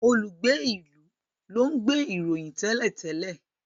olùgbé ilú lón nbe ìròyìn télètélè